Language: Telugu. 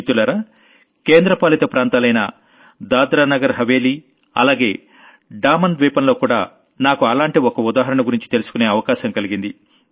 మిత్రలారా కేంద్ర పాలిత ప్రాంతాలైన దాద్రా నగర్ హవేలీ అలాగే డామన్ ద్వీపంలో కూడా నాకు అలాంటి ఒక ఉదాహరణ గురించి తెలుసుకునే అవకాశం కలిగింది